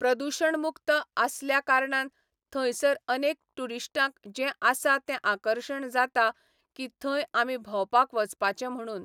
प्रदुशण मुक्त आसल्या कारणान थंयसर अनेक टुरिश्टांक जें आसा तें आकर्शण जाता की थंय आमी भोंवपाक वचपाचें म्हणून.